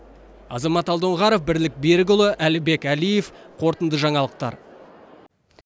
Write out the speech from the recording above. азамат алдоңғаров бірлік берікұлы әлібек әлиев қорытынды жаңалықтар